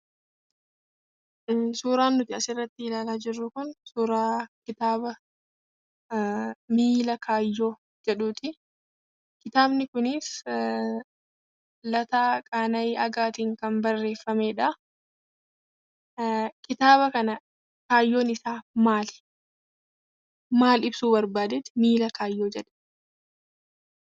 Suuraan asirratti ilaalaa jirru kun suuraa kitaaba "MIILA KAAYYOO" jedhuuti. Kitaabni kunis Lataa Qana'ii Aagaatiin kan barreeffamedha. Kitaaba kana kaayyoon isaa maali, maal ibsuu barbaadeetu "MIILA KAAYYOO" jedhe?